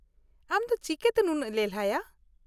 ᱟᱢ ᱫᱚ ᱪᱤᱠᱟᱹᱛᱮ ᱱᱩᱱᱟ.ᱜ ᱞᱮᱞᱦᱟᱭᱟ ?